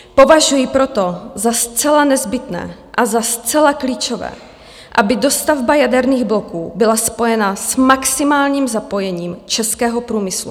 Považuji proto za zcela nezbytné a za zcela klíčové, aby dostavba jaderných bloků byla spojena s maximálním zapojením českého průmyslu.